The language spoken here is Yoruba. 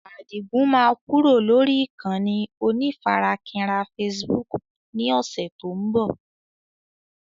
Adigun máa kúrò lórí ìkànnì onífarakínra Facebook ni ọ̀sẹ̀ tó ń bọ̀.